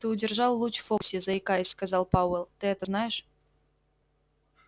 ты удержал луч в фокусе заикаясь сказал пауэлл ты это знаешь